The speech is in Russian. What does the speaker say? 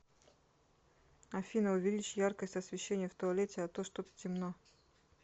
афина увеличь яркость освещения в туалете а то что то темно